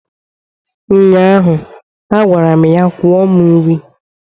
ụnyaahụ, a gwara m ya kwụọ m nri!